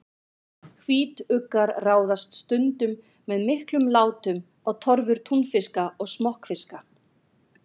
Hvítuggar ráðast stundum með miklum látum á torfur túnfiska og smokkfiska.